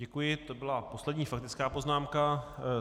Děkuji, to byla poslední faktická poznámka.